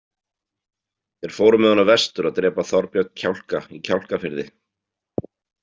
Þeir fóru með honum vestur að drepa Þorbjörn kjálka í Kjálkafirði.